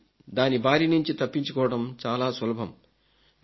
కానీ దాని బారి నుంచి తప్పించుకోవడం చాలా సులభం